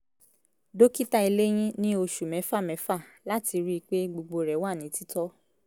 dókítà eléyín ní oṣù mẹ́fà mẹ́fà láti rí i pé gbogbo rẹ̀ wà ní titọ́